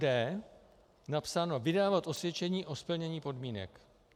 d) napsáno - vydávat osvědčení o splnění podmínek.